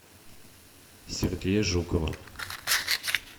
сергея жукова